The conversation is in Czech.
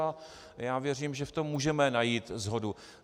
A já věřím, že v tom můžeme najít shodu.